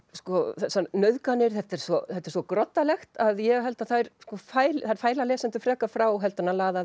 þessar nauðganir þetta er þetta er svo groddalegt að ég held að þær fæli þær fæli lesendur frekar frá heldur en að laða